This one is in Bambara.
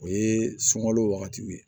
O ye sunkalo wagatiw ye